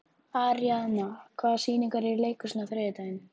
Aríaðna, hvaða sýningar eru í leikhúsinu á þriðjudaginn?